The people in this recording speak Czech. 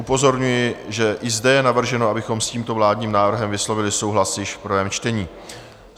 Upozorňuji, že i zde je navrženo, abychom s tímto vládním návrhem vyslovili souhlas již v prvém čtení.